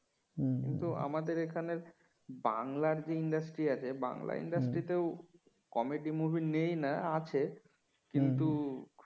কিন্তু আমাদের এখানে বাংলার যে industry আছে বাংলা industry ও comedy movie নেই না আছে কিন্তু